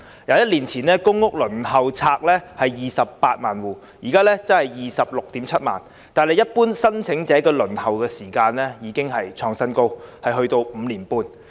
一年前，公共租住房屋輪候冊上有 280,000 戶，現時則是 267,000 戶，但一般申請者的輪候時間卻創了新高，需時5年半。